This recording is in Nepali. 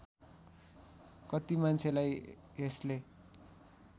कत्ति मान्छेलाई यसले